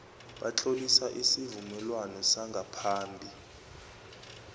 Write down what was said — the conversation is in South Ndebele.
batlolisa isivumelwano sangaphambi